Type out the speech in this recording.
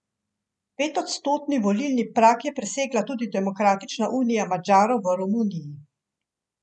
Petodstotni volilni prag je presegla tudi Demokratična unija Madžarov v Romuniji.